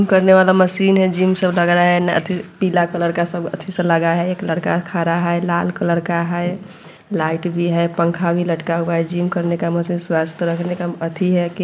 करने वाला मशीन है जिम सा लग रहा है पीला कलर का सब अच्छा सा लग रहा है एक लड़का खडा है लाल कलर का है लाइट भी है पंखा भी लटका हुआ है जिम करने का मशीन स्वस्थ करने का है अथि है।